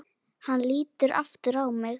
Hann lítur aftur á mig.